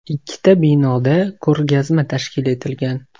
Ikkita binoda ko‘rgazma tashkil etilgan.